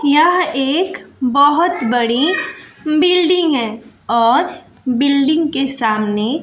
यह एक बहोत बड़ी बिल्डिंग है और बिल्डिंग के सामने--